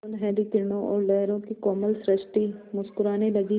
सुनहली किरणों और लहरों की कोमल सृष्टि मुस्कराने लगी